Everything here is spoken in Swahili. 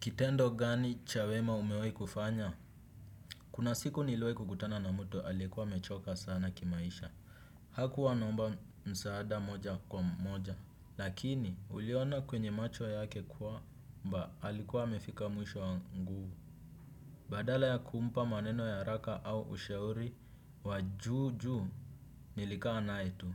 Kitendo gani cha wema umewai kufanya? Kuna siku niliwai kukutana na mtu aliyekuwa amechoka sana kimaisha. Hakuwa anaomba msaada moja kwa moja. Lakini uliona kwenye macho yake kwamba alikuwa amefika mwisho wa nguvu. Badala ya kumpa maneno ya haraka au ushauri wa juu juu nilikaa naye tu.